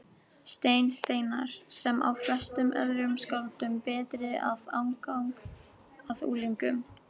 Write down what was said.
Stein Steinarr, sem á flestum öðrum skáldum betri aðgang að unglingum.